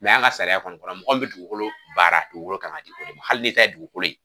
an ka sariya kɔni kɔnɔ mɔgɔ min be dugukolo baara, dugukolo kan ka di o de ma. Hali ni ta ye dugukolo ye.